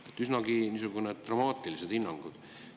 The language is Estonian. Need on üsnagi dramaatilised hinnangud.